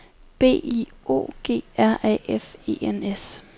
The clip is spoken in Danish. B I O G R A F E N S